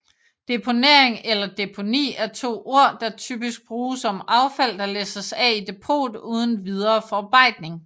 Deponering eller deponi er to ord der typisk bruges om affald der læsses af i depot uden videre forarbejdning